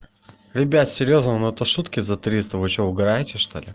ребят серьёзно но это шутки за триста вы что угараете что ли